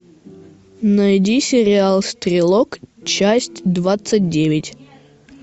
найди сериал стрелок часть двадцать девять